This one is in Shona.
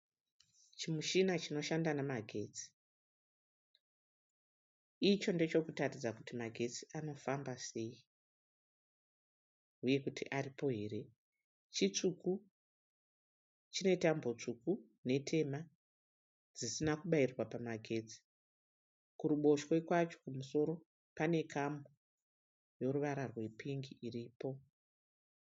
Chimushina chinoshanda namagetsi. Icho ndechekutaridza kuti magetsi anofamba sei uye kuti akuti aripo here. Chitsvuku, chinetambo tsvuku netema dzisina kubairirwa pamagetsi. Kuruboshwe kwacho kumusoro pane kamu yoruvara rwepingi iripo.